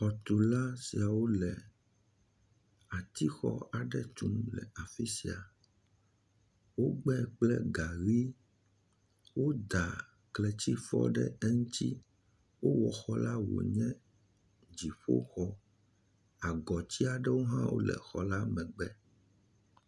Xɔtula siawo le atixɔ aɖe tum le afisia, wogbɛ kple gaɣi, woda kletifɔ ɖe eŋti, wo wɔ xɔla wo nye dziƒoxɔ, agɔti aɖewo hã le xɔla megbe.